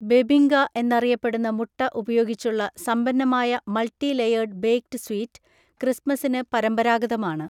ബെബിങ്ക എന്നറിയപ്പെടുന്ന മുട്ട ഉപയോഗിച്ചുള്ള സമ്പന്നമായ മൾട്ടി ലേയേർഡ് ബേക്ക്ഡ് സ്വീറ്റ്, ക്രിസ്മസ്സിന് പരമ്പരാഗതമാണ്.